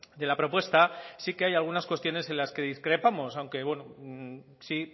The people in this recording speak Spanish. de la propuesta sí que hay algunas cuestiones en las que discrepamos aunque sí